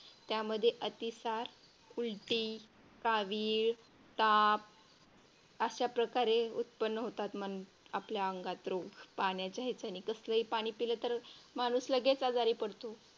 त्यामध्ये अतिसार, उलटी, कावीळ, ताप अशा प्रकारे उत्पन्न होतात मग आपल्या अंगात रोग पाण्याचे हेच्याने कसलंही पाणी पिला तर माणूस लगेच आजारी पडतो.